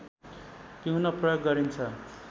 पिउन प्रयोग गरिन्छ